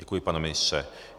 Děkuji, pane ministře.